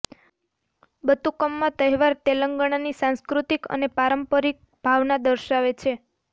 બતુકમ્મા તહેવાર તેલંગણાની સાંસ્કૃતિક અને પારંપરિક ભાવના દર્શાવે છે